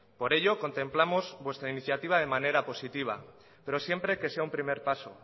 por ello contemplamos vuestra iniciativa de manera positiva pero siempre que sea un primer paso